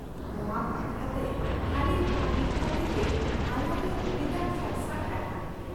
ᱱᱚᱶᱟ ᱵᱟᱠᱷᱨᱟᱛᱮ ᱠᱷᱟᱞᱤ ᱵᱷᱟᱹᱵᱤᱛ ᱠᱟᱛᱮ ᱜᱮ ᱟᱞᱟᱝ ᱨᱮ ᱩᱞᱤ ᱫᱟᱜ ᱥᱟᱨᱥᱟᱜ ᱠᱟᱱᱟ ᱾